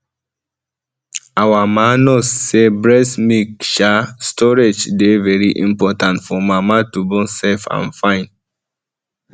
our ma nurse say breast milk um storage dey very important for mama to born safe and fine